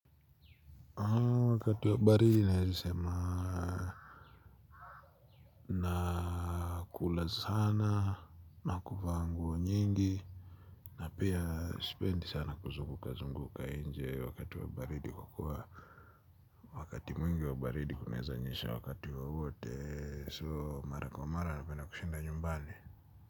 Wakati wa baridi naeza sema. Nakula sana na kuvaa nguo nyingi na pia sipendi sana kuzunguka zunguka inje wakati wa baridi kwa kuwa wakati mwingi wa baridi kunaeza nyesha wakati wowote so mara kwa mara napenda kushinda nyumbani.